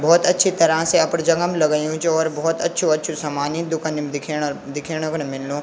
बहौत अच्छी तरह से अपड़ जगह म लगयुं च और बहौत अछू-अछू सामान ई दुकनी म दिखेणा अर दिखेणा क नि मिलणु।